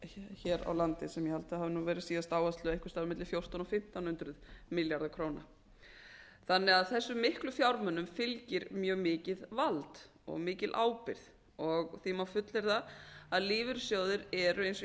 hér á landi sem ég held að hafi verið síðasta ár einhvers staðar á milli fjórtán hundruð og fimmtán hundruð milljarðar króna þessum miklu fjármunum fylgir mikið vald og mikil ábyrgð og því má fullyrða að lífeyrissjóðir eru eins og